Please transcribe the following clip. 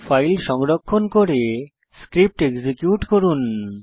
file সংরক্ষণ করে script execute করুন